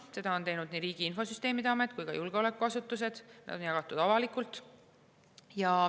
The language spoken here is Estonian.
Seda on teinud nii Riigi Infosüsteemi Amet kui ka julgeolekuasutused avalikult.